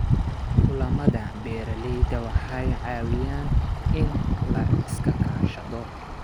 Kulamada beeralayda waxay caawiyaan in la iska kaashado.